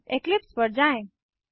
Eclipse पर जाएँ